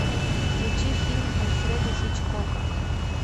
включи фильм альфреда хичкока